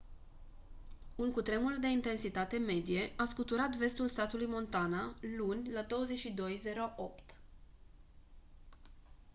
un cutremur de intensitate medie a scuturat vestul statului montana luni la 22:08